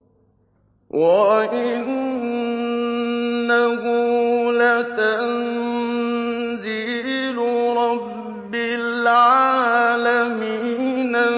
وَإِنَّهُ لَتَنزِيلُ رَبِّ الْعَالَمِينَ